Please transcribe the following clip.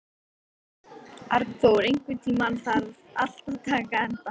Arnþór, einhvern tímann þarf allt að taka enda.